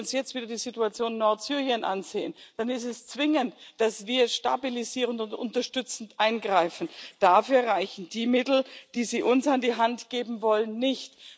ist. Wenn wir uns jetzt wieder die Situation in Nordsyrien ansehen, dann ist es zwingend, dass wir stabilisierend und unterstützend eingreifen. Dafür reichen die Mittel, die Sie uns an die Hand geben wollen,